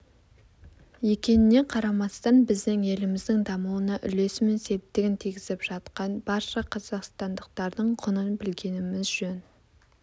екеніне қарамастан біздің еліміздің дамуына үлесі мен септігін тигізіп жатқан барша қазақстандықтардың құнын білгеніміз жөн